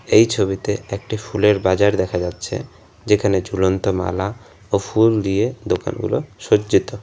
এই ছবিতে একটি ফুলের বাজার দেখা যাচ্ছে যেখানে ঝুলন্ত মালা ও ফুল দিয়ে দোকানগুলো সজ্জিত।